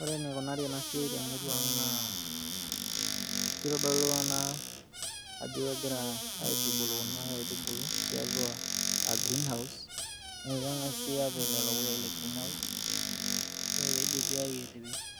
Ore enikunari ena siai te murua ang' naa kitodolu ena ajo kegira aitubulu kuna aitubulu tiatua greenhouse, aa keng'asi apik lelo puyai le greenhouse ore peidipi,